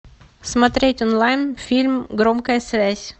смотреть онлайн фильм громкая связь